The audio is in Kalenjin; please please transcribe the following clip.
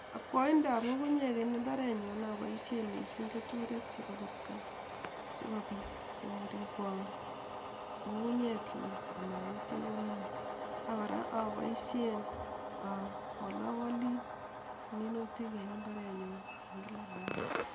Akwaindaab ngungunyek en imbarenyuun apoishen keturek chepo kipgaa asikopit koripwan ngungunyekchu amangetio en ngweny ako kora apoishien awalawali minutik en imbareninyun en kila arawet.